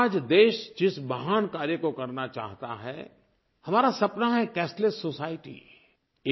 लेकिन आज देश जिस महान कार्य को करना चाहता है हमारा सपना है कैशलेस सोसाइटी